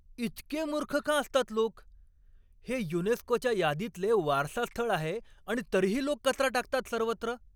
इतके मूर्ख का असतात लोक? हे युनेस्कोच्या यादीतले वारसा स्थळ आहे आणि तरीही लोक कचरा टाकतात सर्वत्र.